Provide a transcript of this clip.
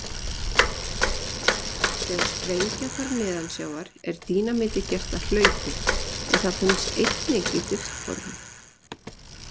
Þegar sprengja þarf neðansjávar er dínamítið gert að hlaupi en það finnst einnig í duftformi.